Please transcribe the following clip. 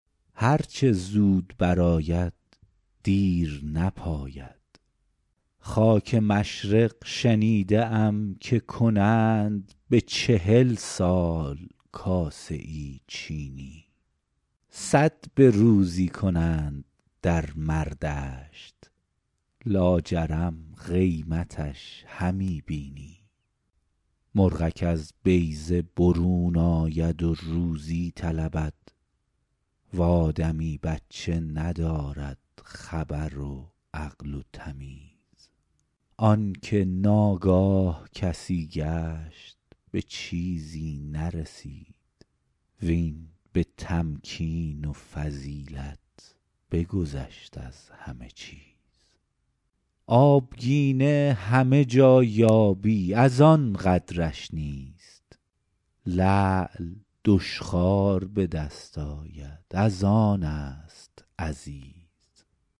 هر چه زود بر آید دیر نپاید خاک مشرق شنیده ام که کنند به چهل سال کاسه ای چینی صد به روزی کنند در مردشت لاجرم قیمتش همی بینی مرغک از بیضه برون آید و روزی طلبد و آدمی بچه ندارد خبر و عقل و تمیز آن که ناگاه کسی گشت به چیزی نرسید وین به تمکین و فضیلت بگذشت از همه چیز آبگینه همه جا یابی از آن قدرش نیست لعل دشخوار به دست آید از آن است عزیز